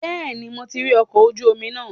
Bẹ́ẹ̀ni, mo ti rí ọkọ̀ ojú omi náà.